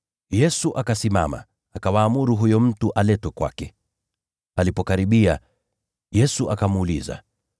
Yesu akasimama, akawaamuru wamlete huyo mtu kwake. Alipokaribia, Yesu akamuuliza,